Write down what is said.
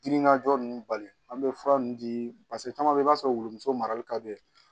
Diminanja ninnu bali an bɛ fura ninnu di caman bɛ i b'a sɔrɔ wuluso marali ka d'e ye